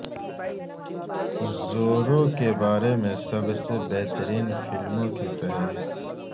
زورو کے بارے میں سب سے بہترین فلموں کی فہرست